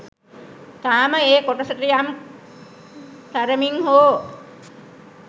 තාම ඒ කොටසට යම් තරමින් හෝ